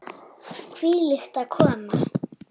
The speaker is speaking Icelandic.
Hvílík aðkoma!